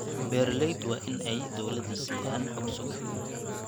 Beeraleydu waa in ay dawladda siiyaan xog sugan.